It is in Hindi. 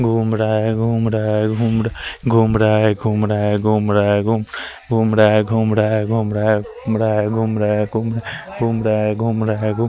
घुंम रहा है घुंम रहा है घुंम रहा है घुंम रहा है घुंम रहा है घुंम रहा है घुंम रहा है घुंम रहा है घुंम रहा है घुंम रहा है --